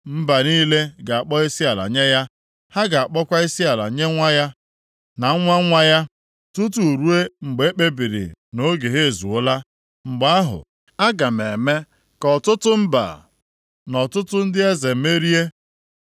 Mba niile ga-akpọ isiala nye ya; ha ga-akpọkwa isiala nye nwa ya na nwa nwa ya, tutu ruo mgbe m kpebiri na oge ha ezuola. Mgbe ahụ, aga m eme ka ọtụtụ mba na ọtụtụ ndị eze merie ya.